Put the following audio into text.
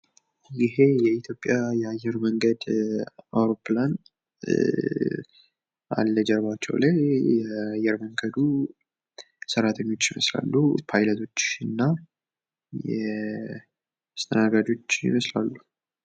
ይሄ የኢትዮጵያ የአየር መንገድ አውሮፕላን አለ። ጀርባቸው ላይ የአየር መንገዱ ሰራቶኞች ይመልስላሉ። እንዲሁም ፓይለቶችን እና አስተናጋጆች ይመስላሉ።